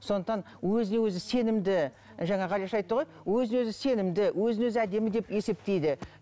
сондықтан өзіне өзі сенімді жаңа ғалияш айтты ғой өзіне өзі сенімді өзін өзі әдемі деп есептейді